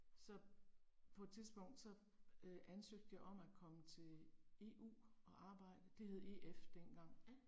Så på et tidspunkt så øh ansøgte jeg om at komme til EU og arbejde, det hed EF dengang